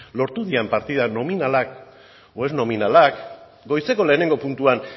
lortu diren partidak nominalak edo ez nominalak goizeko lehenengo puntuan